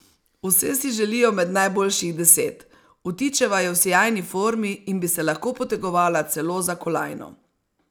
Vse si želijo med najboljših deset, Vtičeva je v sijajni formi in bi se lahko potegovala celo za kolajno.